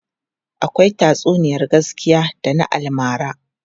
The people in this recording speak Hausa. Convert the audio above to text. Akwai tatsuniyar gaskiya da na almara.